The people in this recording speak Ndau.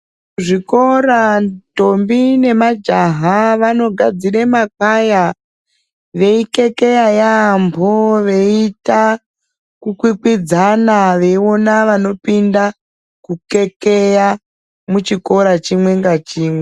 Zvikora ndombi nemajaha, vanogadzire makwaya, veikekeya yaampho veiita ,kukwikwidzana, veiona vanopinda, kukekeya, muchikora chimwe nachimwe.